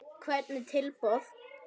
Hvernig tilboð?